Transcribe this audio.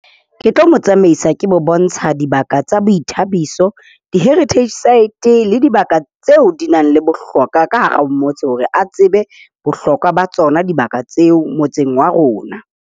Ke tlo mo tsamaisa ke mo bontsha dibaka tsa boithabiso, di-heritage site le dibaka tseo di nang le bohlokwa ka hara o motse hore a tsebe bohlokwa ba tsona dibaka tseo motseng wa rona.